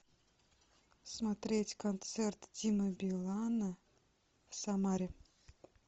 смотреть концерт димы билана в самаре